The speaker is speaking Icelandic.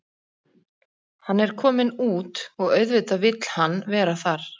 Hann er kominn út og auðvitað vill hann vera þar.